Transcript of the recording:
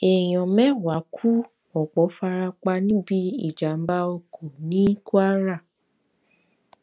èèyàn mẹwàá ku ọpọ fara pa níbi ìjàmbá oko ní kwara